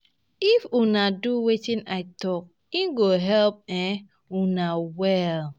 If una do wetin I talk e go help um una well